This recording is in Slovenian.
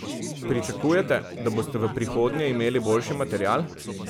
Pričakujete, da boste v prihodnje imeli boljši material?